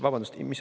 Vabandust!